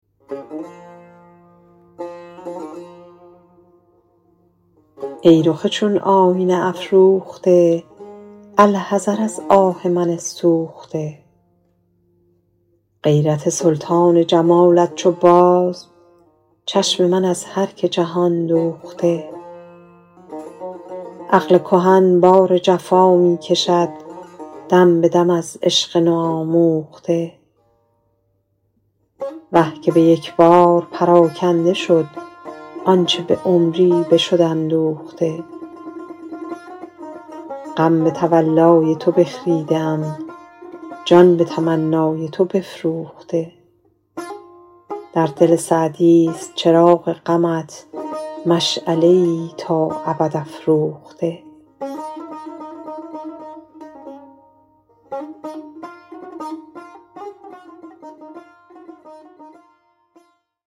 ای رخ چون آینه افروخته الحذر از آه من سوخته غیرت سلطان جمالت چو باز چشم من از هر که جهان دوخته عقل کهن بار جفا می کشد دم به دم از عشق نوآموخته وه که به یک بار پراکنده شد آنچه به عمری بشد اندوخته غم به تولای تو بخریده ام جان به تمنای تو بفروخته در دل سعدیست چراغ غمت مشعله ای تا ابد افروخته